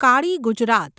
Kali Gujarat